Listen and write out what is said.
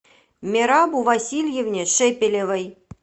мерабу васильевне шепелевой